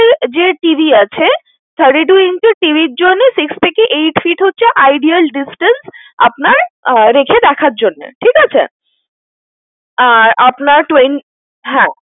যে TV আছে, thirty-two inch TV র জন্যে six থেকে eight feet হচ্ছে ideal distance । আপনার রেখে দেখার জন্য। ঠিক আছে? আর আপনার twen~ হ্যাঁ,